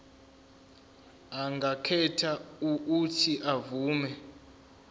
angakhetha uuthi avume